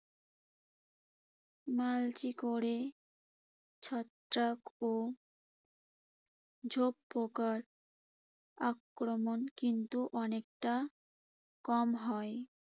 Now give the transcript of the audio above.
Mulching করে ছত্রাক ও ঝোপ পোকার আক্রমণ কিন্তু অনেকটা কম হয়।